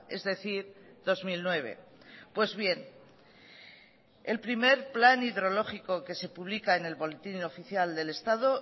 es decir dos mil nueve pues bien el primer plan hidrológico que se publica en el boletín oficial del estado